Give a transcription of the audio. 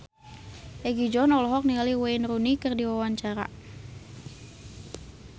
Egi John olohok ningali Wayne Rooney keur diwawancara